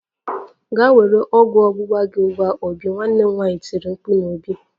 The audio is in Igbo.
Gaa were ọgwụ ọgbụgba gị ugbu a obi! Nwanne m nwanyi tiri mkpu n'obi